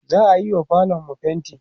za'ayiwa falonmu fainti